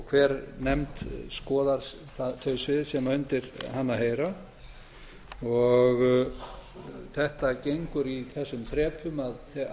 hver nefnd skoðar þau svið sem undir hana heyra þetta gengur í þessum þrepum að